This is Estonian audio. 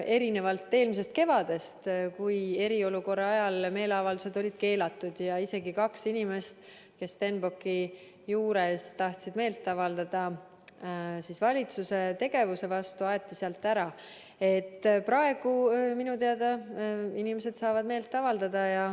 Erinevalt eelmisest kevadest, kui eriolukorra ajal olid meeleavaldused keelatud ja isegi kaks inimest, kes Stenbocki juures tahtsid meelt avaldada valitsuse tegevuse vastu, aeti sealt ära, praegu minu teada inimesed saavad meelt avaldada.